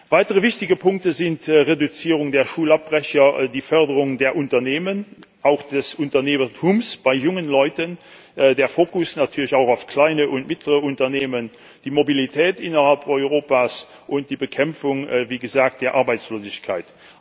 Weitere wichtige Punkte sind die Reduzierung der Schulabbrecherquote, die Förderung der Unternehmen auch des Unternehmertums bei jungen Leuten der Fokus natürlich auch auf kleinen und mittleren Unternehmen, die Mobilität innerhalb Europas und wie gesagt die Bekämpfung der Arbeitslosigkeit.